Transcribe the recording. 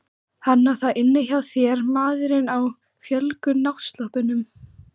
Hann á það inni hjá þér maðurinn á fölgula náttsloppnum.